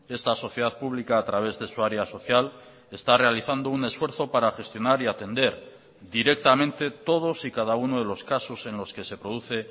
esta sociedad pública a través de su área social está realizando un esfuerzo para gestionar y atender directamente todos y cada uno de los casos en los que se produce